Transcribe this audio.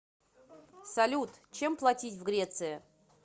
салют чем платить в греции